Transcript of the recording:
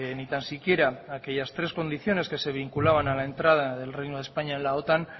ni tan siquiera aquellas tres condiciones que se vinculaban a la entrada del reino de españa en la otan